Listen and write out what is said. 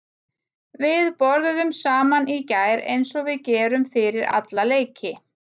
Við borðuðum saman í gær eins og við gerum fyrir alla leiki.